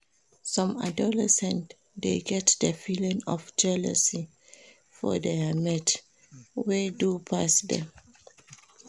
Some adolescents dey get the feeling of jealousy for their mate wey do pass dem